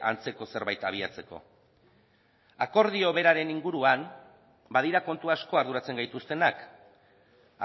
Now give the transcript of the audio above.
antzeko zerbait abiatzeko akordio beraren inguruan badira kontu asko arduratzen gaituztenak